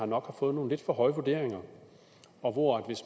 nok har fået nogle lidt for høje vurderinger og hvor